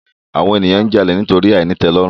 Àwon ènìyàn n jalè nítorí àìnítèlòrùn